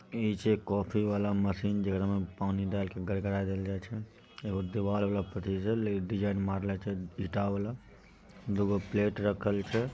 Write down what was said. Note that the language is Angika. इ छे कॉफी वाला मशीन जेकरा में पानी डालकर गड़गड़ा देवेल जाय छे| एगो देवाल मार्ले छे ईंटा वाला डिजाइन मार्ले छे ईंटा मार्ले छे ईंटा वाला दूगो प्लेट रखल छे।